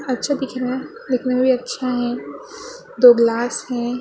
अच्छे दिख रहे हैं देखने में भी अच्छा हैं दो ग्लास हैं।